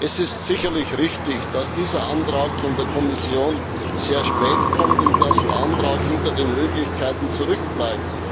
Es ist sicherlich richtig, dass dieser Antrag von der Kommission sehr spät kommt und dass er hinter den Möglichkeiten zurückbleibt.